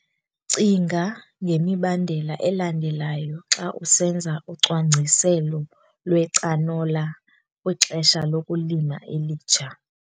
Cinga ngemibandela elandelayo xa usenza ucwangciselo lwecanola kwixesha lokulima elitsha.